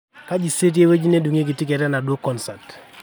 kaji saa etii ewueji nedungieki ticket enaduo concert